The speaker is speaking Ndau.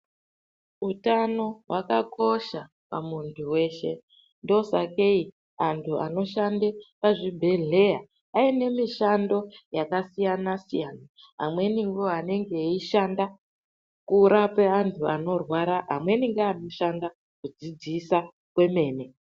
Utano hwakakosha pamuntu weshe ndosakei antu vanoshanda pazvibhedhleya anemushando yakasiyana siyana. Amweni ndoanenge eishanda kurape vantu anorwara, amweni anoshanda kudzidzisa kwemene .